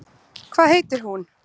Hvað heitir hún?